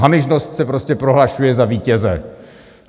Hamižnost se prostě prohlašuje za vítěze.